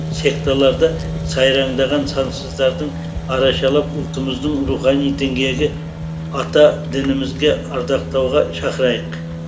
секталарда сайраңдаған сансыздардың арашалап ұлтымыздың рухани діңгегі ата дінімізге ардақтауға шақырайық